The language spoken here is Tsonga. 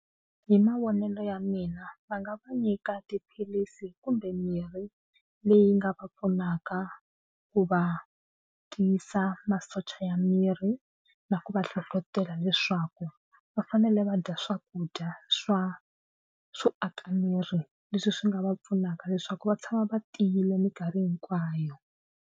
Hi mavonelo ya mina va nga va nyika tiphilisi kumbe mirhi leyi nga va pfunaka ku va tiyisa masocha ya miri na ku va hlohlotela leswaku va fanele va dya swakudya swa swo aka miri leswi swi nga va pfunaka leswaku va tshama va tiyile mikarhi hinkwayo.